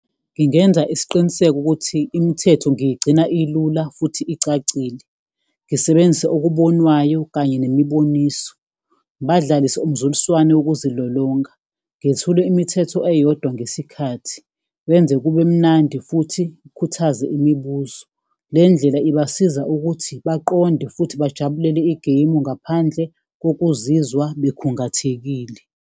Ngingenza isiqiniseko ukuthi imithetho ngiyigcina ilula futhi icacile, ngisebenzise okubonwayo kanye nemiboniso, ngibadalise umzuliswano wokuzilolonga, ngethule imithetho eyodwa ngesikhathi, ngenze kube mnandi futhi kukhuthaze imibuzo. Le ndlela ibasiza ukuthi baqonde futhi bajabulele igemu ngaphandle kokuzizwa bekhungathekile.